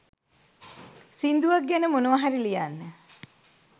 සිංදුවක් ගැන මොනව හරි ලියන්න